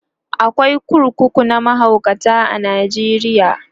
akwai kurkuku na mahaukata a Najeriya